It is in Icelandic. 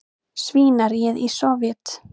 svínaríið í Sovét.